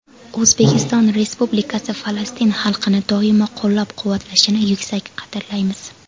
O‘zbekiston Respublikasi Falastin xalqini doimo qo‘llab-quvvatlashini yuksak qadrlaymiz.